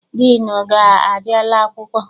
Diinu gị abịala akwụkwọ?